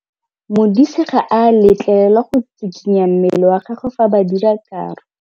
Modise ga a letlelelwa go tshikinya mmele wa gagwe fa ba dira karô.